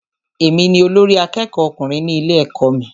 Èmi ni olórí àkẹ́kọ̀ọ ọkùnrin ní ilé ẹ̀kọ́ mí.